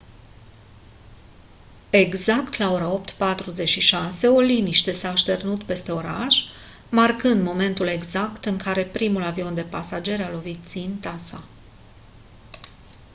exact la ora 08:46 o liniște s-a așternut peste oraș marcând momentul exact în care primul avion de pasageri a lovit ținta sa